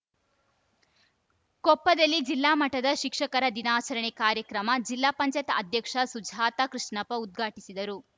ಕೊಪ್ಪದಲ್ಲಿ ಜಿಲ್ಲಾ ಮಟ್ಟದ ಶಿಕ್ಷಕರ ದಿನಾಚರಣೆ ಕಾರ್ಯಕ್ರಮ ಜಿಲ್ಲಾ ಪಂಚಾಯತ್ ಅಧ್ಯಕ್ಷೆ ಸುಜಾತ ಕೃಷ್ಣಪ್ಪ ಉದ್ಘಾಟಿಸಿದರು